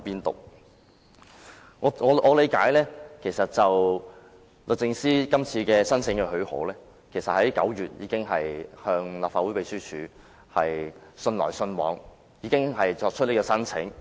據我了解，就這次的特別許可申請，律政司早於9月已經與立法會秘書處有書信往來，並提出申請。